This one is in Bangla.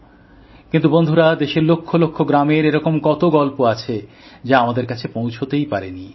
কিন্তু বন্ধুরা দেশের লক্ষ লক্ষ গ্রামের এরকম কত গল্প আছে যা আমাদের কাছে পৌঁছতেই পারেনি